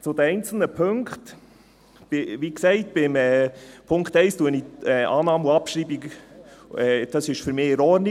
Zu den einzelnen Punkten: Wie gesagt ist beim Punkt 1 Annahme und Abschreibung für mich in Ordnung.